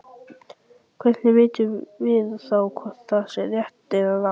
Hvernig vitum við þá hvort það sé rétt eða rangt?